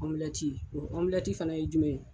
o fana ye jumɛn ye